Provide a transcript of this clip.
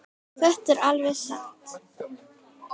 Þetta er alveg satt.